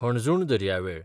हणजूण दर्यावेळ